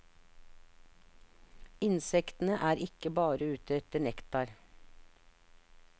Insektene er ikke bare ute etter nektar.